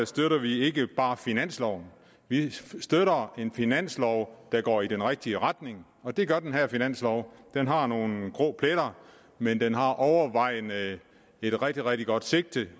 støtter vi ikke bare finansloven vi støtter en finanslov der går i den rigtige retning og det gør den her finanslov den har nogle grå pletter men den har overvejende et rigtig rigtig godt sigte